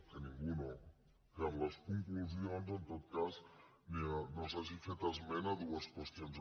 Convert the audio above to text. que ningú no que en les conclusions en tot cas no s’hagi fet esment de dues qüestions